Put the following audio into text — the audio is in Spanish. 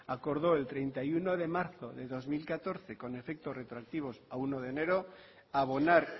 acordó el treinta y uno de marzo de dos mil catorce con efecto retroactivo a uno de enero abonar